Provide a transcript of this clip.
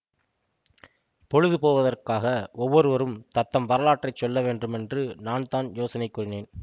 பொழுது போவதற்காக ஒவ்வொருவரும் தத்தம் வரலாற்றை சொல்ல வேண்டுமென்று நான் தான் யோசனை கூறினேன்